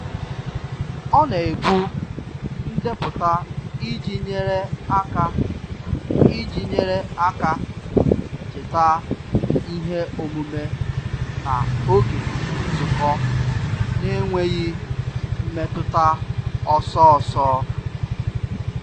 Ọ na-ebu ndepụta iji nyere aka iji nyere aka cheta ihe omume na oge nzukọ n'enweghị mmetụta ọsọ ọsọ.